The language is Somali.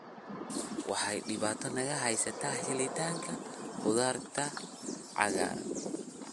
Waxa dhibaato naga haysata helitaanka khudaarta cagaaran.